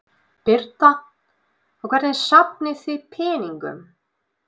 Birta: Og hvernig safnið þið peningum?